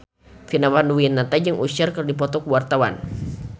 Vina Panduwinata jeung Usher keur dipoto ku wartawan